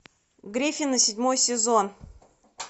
гриффины седьмой сезон